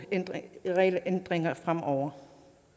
regelændringer fremover